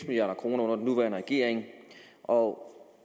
milliard kroner under den nuværende regering og